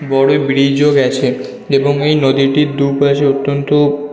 বড় ব্রীজ -ও গেছে এবং এই নদীটির দুপাশে অত্যন্ত--